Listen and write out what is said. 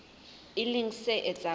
e leng se etsang hore